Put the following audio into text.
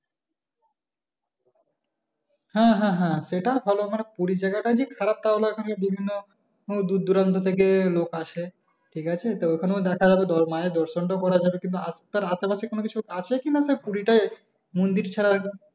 হ্যাঁ হ্যাঁ হ্যাঁ সেটা ভালো মানে পুরি জায়গা ওখানে বিভিন্ন দূরদুরান্ত থেকে লোক আসে ঠিক আছে তো ওখানেও দেখা গেলো মায়ের দর্শন টাও করা যাবে কিন্তু আশেপাশে কোনো কিছু আছে কি না পুরি টাই মন্দির ছাড়ার